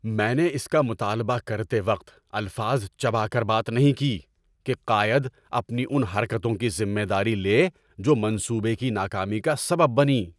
میں نے اس کا مطالبہ کرتے وقت الفاظ چبا کر بات نہیں کی کہ قائد اپنی ان حرکتوں کی ذمہ داری لے جو منصوبے کی ناکامی کا سبب بنیں۔